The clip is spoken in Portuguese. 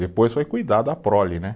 Depois foi cuidar da prole, né?